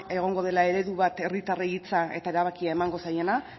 egongo dela eredu bat herritarrei hitza eta erabakia emango zaiela